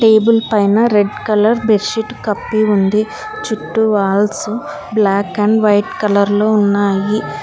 table పైన red colour bed sheet కప్పి ఉంది చుట్టూ walls black and white colour లో ఉన్నాయి